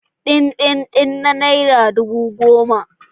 Dindindin na naira dubu goma